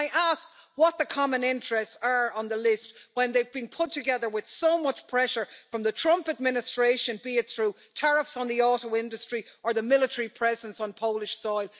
And can I ask what the common interests are on the list, when they've been put together with so much pressure from the Trump administration, be it through tariffs on the auto industry or the military presence on Polish soil?